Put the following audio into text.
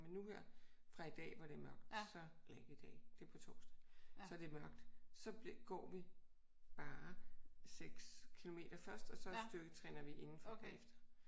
Men nu her fra i dag hvor det er mørkt så eller ikke i dag. Det er på torsdag. Så er det mørkt. Så går vi bare 6 kilometer først og så styrketræner vi indenfor bagefter